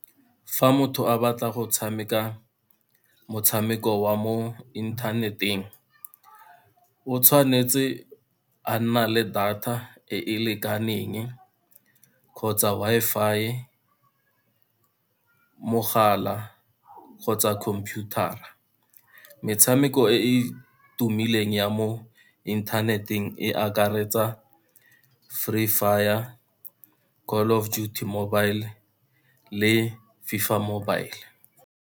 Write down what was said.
Fa motho a batla go tshameka motshameko wa mo inthaneteng, o tshwanetse a nna le data e e lekaneng, kgotsa Wi-Fi, mogala kgotsa computer-ra. Metshameko e e tumileng ya mo inthaneteng, e akaretsa Free Fire, Call of Duty Mobile le FIFA mobile.